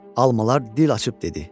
Almalar dil açıb dedi: